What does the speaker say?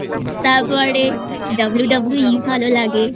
তারপরে WWE ভালো লাগে